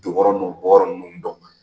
Don yɔrɔ n'o bɔ yɔrɔ ninnu dɔn.